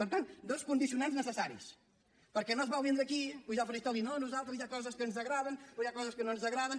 per tant dos condicionants necessaris perquè no s’hi val vindre aquí pujar al faristol i dir no nosaltres hi ha coses que ens agraden però hi ha coses que no ens agraden